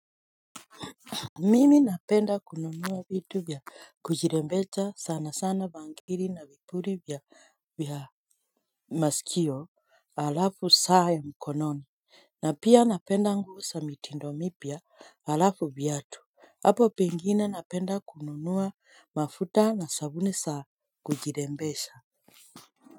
Mimi napenda kununua vitu vya kujirembesha sana sana bangiri na vipuri vya masikio alafu saa ya mkononi. Na pia napenda nguo za mitindo mipya alafu viatu, hapo pengine napenda kununua mafuta na sabuni za kujirembesha.